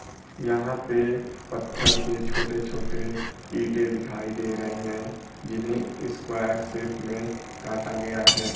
यहां पे पत्थर के छोटे छोटे ईंटे दिखाई दे रहे हैं जिन्हें स्क्वायर शेप में काटा गया है।